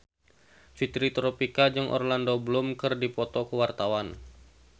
Fitri Tropika jeung Orlando Bloom keur dipoto ku wartawan